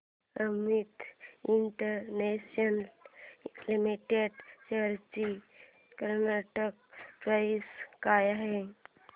Amit international limited shares ची current price काय आहे